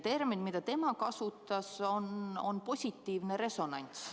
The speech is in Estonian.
Väljend, mida tema kasutas, on "positiivne resonants".